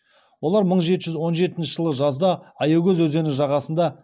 олар мың жеті жүз он жетінші жылы жазда аякөз өзені жағасында